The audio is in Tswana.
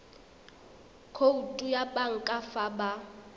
khoutu ya banka fa ba